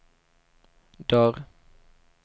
dörr